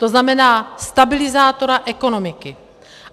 To znamená stabilizátora ekonomiky.